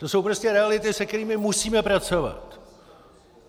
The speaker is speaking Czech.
To jsou prostě reality, se kterými musíme pracovat.